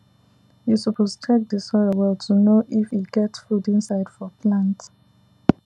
you suppose check the soil well to know if e get food inside for plant